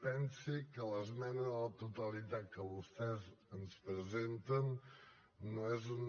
pensi que l’esmena a la totalitat que vostès ens presenten no és una